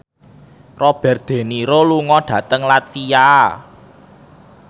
Robert de Niro lunga dhateng latvia